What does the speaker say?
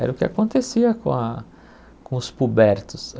Era o que acontecia com a com os pubertos.